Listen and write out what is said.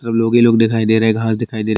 ई सब लोभी लोग दिखाई दे रहें हैं घर दिखाई दे र --